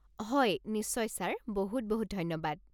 হয়, নিশ্চয় ছাৰ, বহুত বহুত ধন্যবাদ।